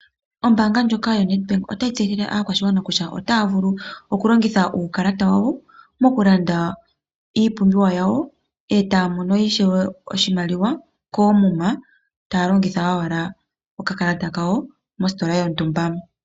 Ombaanga ndjoka yo Nedbank otayi tseyithile aakwashigwana kutya otaya vulu oku longitha uukalata wawo oku landa iipumbiwa yawo etaya mono ishewe oshimaliwa koomuma taya longitha owala okakalata kawo mositola yontumba.